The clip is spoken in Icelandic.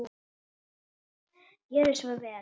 Gjörið svo vel!